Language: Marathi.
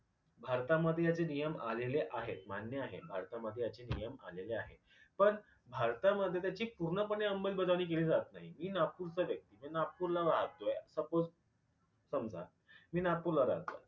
भारतामध्ये आशे नियम आलेले आहेत मान्य आहेत भारतामध्ये अशे नियम आलेले आहेत पन भारतामध्ये त्याची पूर्णपणे अंमलबजावणी केली जात नाही मी नागपूरचाच आहे, नागपूरला राहतोय सपोज समजा मी नागपूरला राहतोय